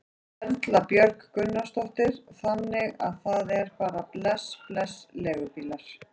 Erla Björg Gunnarsdóttir: Þannig að það er bara bless bless leigubílar?